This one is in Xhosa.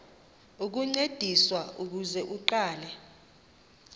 ukuncediswa ukuze aqale